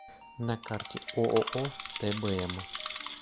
на карте ооо тбм